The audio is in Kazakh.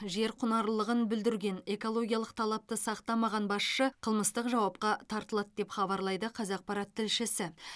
жер құнарлылығын бүлдірген экологиялық талапты сақтамаған басшы қылмыстық жауапқа тартылады деп хабарлайды қазақпарат тілшісі